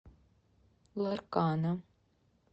ларкана